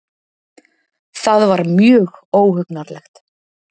Það var mjög óhugnanlegt